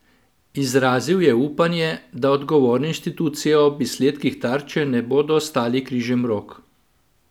Izrazil je upanje, da odgovorne institucije ob izsledkih Tarče ne bodo ostali križem rok.